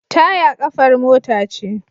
Taya kafar mota ce.